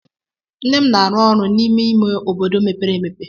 Nne m na-arụ ọrụ n'ime ime obodo mepere emepe.